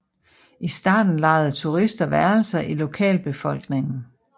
I starten lejede turister værelser i lokalbefolkningen